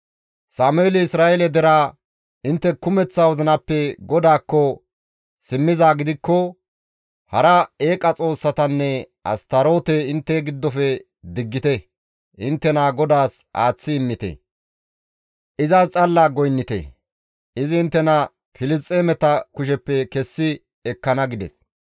Sameeli Isra7eele deraa, «Intte kumeththa wozinappe GODAAKKO simmizaa gidikko hara eeqa xoossatanne Astaroote intte giddofe diggite; inttena GODAAS aaththi immite; izas xalla goynnite; izi inttena Filisxeemeta kusheppe kessi ekkana» gides.